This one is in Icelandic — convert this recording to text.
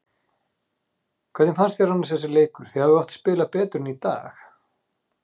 Hvernig fannst þér annars þessi leikur, þið hafið oft spilað betur en í dag?